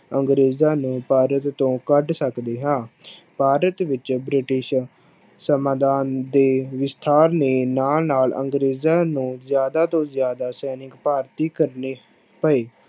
ਅੰਗਰੇਜ਼ਾਂ ਨੂੰ ਭਾਰਤ ਤੋਂ ਕੱਢ ਸਕਦੇ ਹਾਂ ਭਾਰਤ ਵਿੱਚ ਬ੍ਰਿਟਿਸ਼ ਸਮਾਧਾਨ ਦੇ ਵਿਸਥਾਰ ਦੇ ਨਾਲ ਨਾਲ ਅੰਗਰੇਜ਼ਾਂ ਨੂੰ ਜ਼ਿਆਦਾ ਤੋਂ ਜ਼ਿਆਦਾ ਸੈਨਿਕ ਭਰਤੀ ਕਰਨੇ ਪਏ।